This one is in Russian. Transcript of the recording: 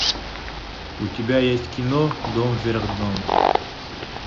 у тебя есть кино дом вверх дном